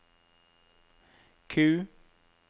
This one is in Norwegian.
Q